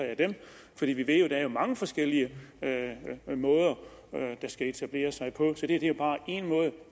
der er mange forskellige måder det skal etablere sig på så det her er bare